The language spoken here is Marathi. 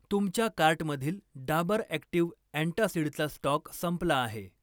तुमच्या कार्टमधील डाबर ॲक्टिव अँटासिडचा स्टॉक संपला आहे.